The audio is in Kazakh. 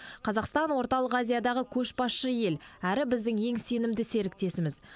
қазақстан орталық азиядағы көшбасшы ел әрі біздің ең сенімді серіктесіміз